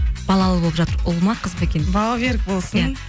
балалы болып жатыр ұл ма қыз ба екен бауы берік болсын иә